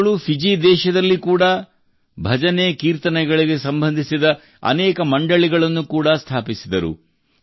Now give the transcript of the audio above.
ಅವರುಗಳ ಫಿಜಿ ದೇಶದಲ್ಲಿ ಕೂಡಾ ಭಜನೆಕೀರ್ತನೆಗಳಿಗೆ ಸಂಬಂಧಿಸಿದ ಅನೇಕ ಮಂಡಳಿಗಳನ್ನು ಕೂಡಾ ಸ್ಥಾಪಿಸಿದರು